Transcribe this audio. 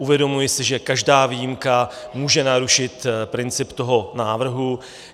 Uvědomuji si, že každá výjimka může narušit princip toho návrhu.